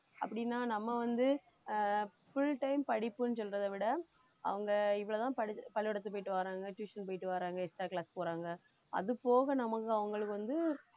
அப்படின்னா நம்ம வந்து ஆஹ் full time படிப்புன்னு சொல்றதே விட அவங்க இவ்வளவுதான் படிச்~ பள்ளிக்கூடத்துக்கு போயிட்டு வர்றாங்க tuition போயிட்டு வர்றாங்க extra class போறாங்க அதுபோக நமக்கு அவங்களுக்கு வந்து